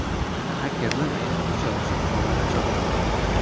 Xakerlar aynan o‘sha ruxsatnomalarni chop etgan.